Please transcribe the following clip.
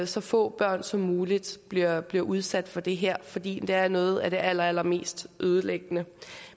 så få børn som muligt bliver bliver udsat for det her fordi det er noget af det allerallermest ødelæggende